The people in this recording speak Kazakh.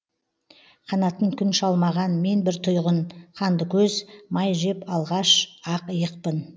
қанатын күн шалмаған мен бір түйғын қанды көз май жеп алғаш ақ иықпын